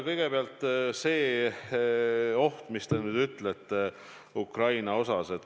Kõigepealt sellest ohust, mis, nagu te nüüd ütlete, Ukrainaga on seotud.